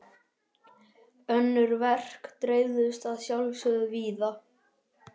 Önnur verk dreifðust að sjálfsögðu víða.